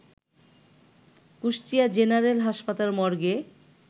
Kushtia general হাসপাতাল মর্গে